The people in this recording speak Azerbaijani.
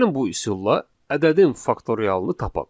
Gəlin bu üsulla ədədin faktorialını tapaq.